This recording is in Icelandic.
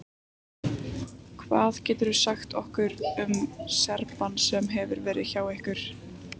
Hvað geturðu sagt okkur um Serbann sem hefur verið hjá ykkur?